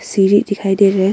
सीढ़ी दिखाई दे रहा है।